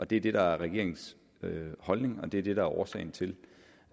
det er det der er regeringens holdning og det er det der er årsagen til